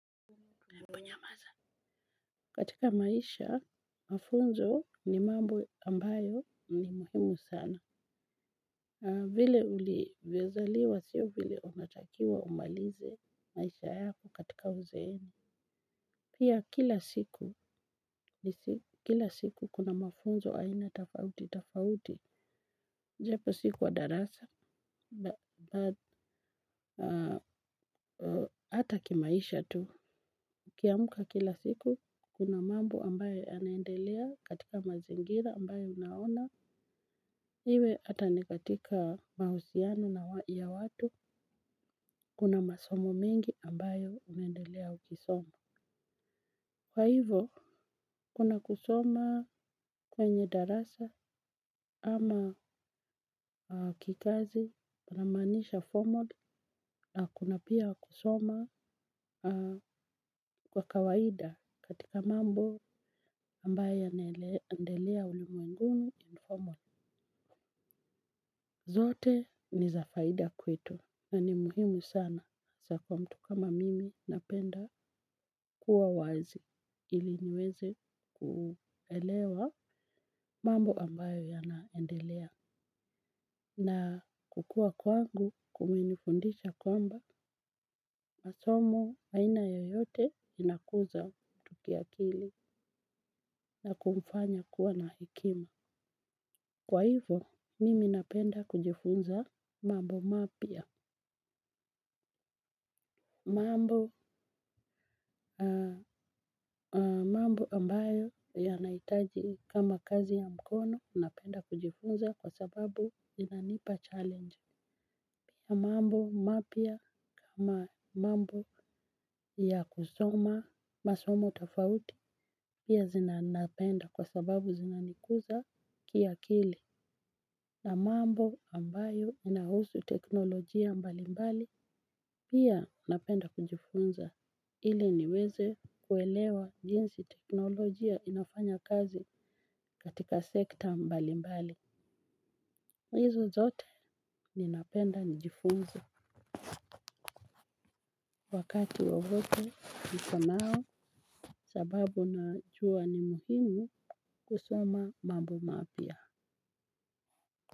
Katika maisha mafunzo ni mambo ambayo ni muhimu sana. Vile ulivyozaliwa sio vile unatakiwa umalize maisha yako katika uzeeni. Pia kila siku kuna mafunzo aina tafauti tafauti. Japo si kwa darasa hata kimaisha tu ukiamka kila siku, kuna mambo ambayo yanaendelea katika mazingira ambayo unaona. Iwe hata ni katika mahusiano ya watu, kuna masomo mengi ambayo unaendelea ukisomo. Kwa hivo, kuna kusoma kwenye darasa ama kikazi, kunamanisha formal, na kuna pia kusoma kwa kawaida katika mambo ambayo yanaendelea ulimwenguni informal. Zote ni za faida kwetu na ni muhimu sana hasa kwa mtu kama mimi napenda kuwa wazi ili niweze kuelewa mambo ambayo yanaendelea. Na kukua kwangu kumenifundisha kwamba masomo aina yoyote inakuza mtu kiakili na kumfanya kuwa na hikima. Kwa hivo, mimi napenda kujifunza mambo mapya. Mambo ambayo yanahitaji kama kazi ya mkono napenda kujifunza kwa sababu inanipa challenge ya mambo mapya kama mambo ya kusoma masomo tafauti pia napenda kwa sababu zinanikuza kiakili. Na mambo ambayo yanahusu teknolojia mbalimbali pia napenda kujifunza. Ili niweze kuelewa jinsi teknolojia inafanya kazi katika sekta mbali mbali. Hizo zote ninapenda nijifunze. Wakati wowote nikonao sababu najua ni muhimu kusoma mambo mapya.